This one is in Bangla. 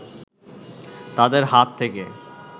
তাদের হাত থেকে